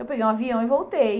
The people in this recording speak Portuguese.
Eu peguei um avião e voltei.